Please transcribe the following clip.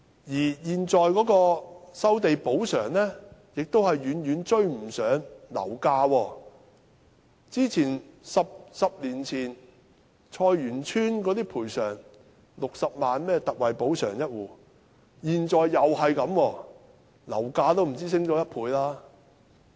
而現時的收地補償亦遠遠追不上樓價 ，10 年前菜園村每戶有60萬元特惠補償，現在仍然是這個金額，樓價卻已上升了不止1倍。